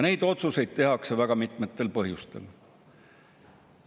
Neid otsuseid tehakse väga mitmetel põhjustel.